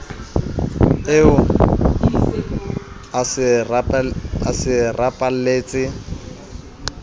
eo o se a rapaletse